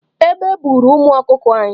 Egbe buuru ụmụ ọkụkọ anyị.